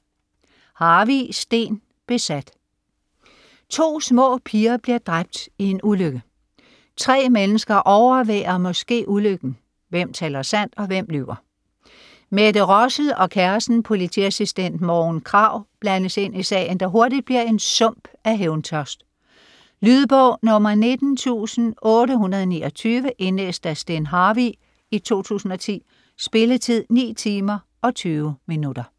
Harvig, Steen: Besat To små piger bliver dræbt i en ulykke. Tre mennesker overværer måske ulykken. Hvem taler sandt og hvem lyver? Mette Rossel og kæresten, politiassistent Morgen Krag blandes ind i sagen, der hurtigt bliver en sump af hævntørst. Lydbog 19829 Indlæst af Steen Harvig, 2010. Spilletid: 9 timer, 20 minutter.